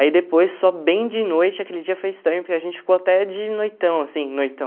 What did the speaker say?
Aí depois, só bem de noite, aquele dia foi estranho, porque a gente ficou até de noitão, assim, noitão.